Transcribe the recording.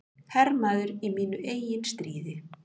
Hermaður í mínu eigin stríði.